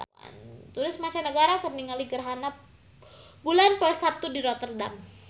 Turis mancanagara keur ningali gerhana bulan poe Saptu di Rotterdam